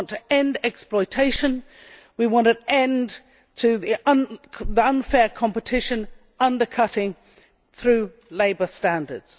We want to end exploitation, we want an end to unfair competition, undercutting through labour standards.